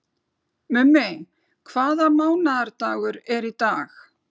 Mummi, hvaða mánaðardagur er í dag?